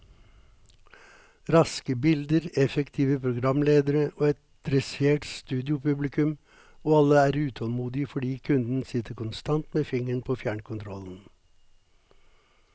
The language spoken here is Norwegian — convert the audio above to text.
Raske bilder, effektive programledere og et dressert studiopublikum, og alle er utålmodige fordi kunden sitter konstant med fingeren på fjernkontrollen.